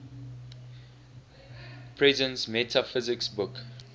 presence metaphysics book